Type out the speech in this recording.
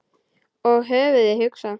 Og höfuðið hugsa?